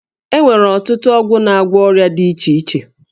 E nwere ọtụtụ ọgwụ na-agwọ ọrịa dị iche iche